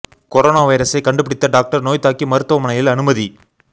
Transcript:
corona வைரசை கண்டு பிடித்த டாக்டர் நோய் தாக்கி மருத்துமனையில் அனுமதி